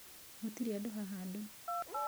Gũtirĩ andũ haha andũ